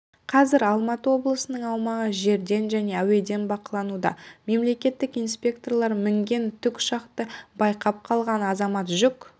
қазір алматы облысының аумағы жерден және әуеден бақылануда мемлекеттік инспекторлар мінген тікұшақты байқап қалған азамат жүк